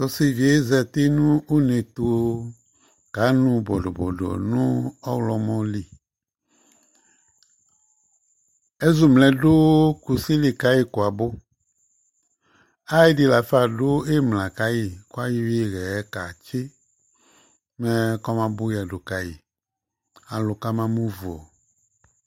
Ɔsɩ dɩ zati nʋ uneɛtu ka nʋ bodobodo nʋ ɔɣlɔmɔ li Ɛzʋmlɛ dʋ kusi li kayɩ kʋ abʋ Ay'ɛdɩ lafa dʋ ɩmla kayɩ k'ayɔ ɩɣɛ katsɩ mɛkɔma bʋ yədu kayɩ ,alʋ kama mʋ vu